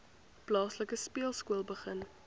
plaaslike speelskool begin